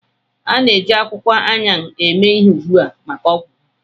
A na-eji akwụkwọ Ayan eme ihe ugbu a maka ọgwụ ha.